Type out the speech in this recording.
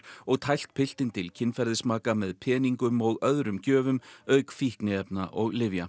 og tælt piltinn til kynferðismaka með peningum og öðrum gjöfum auk fíkniefna og lyfja